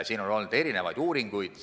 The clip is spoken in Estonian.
On tehtud erinevaid uuringuid.